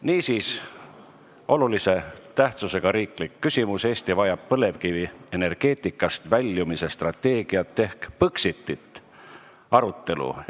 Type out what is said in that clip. Niisiis, olulise tähtsusega riikliku küsimuse "Eesti vajab põlevkivienergeetikast väljumise strateegiat ehk Põxitit" arutelu.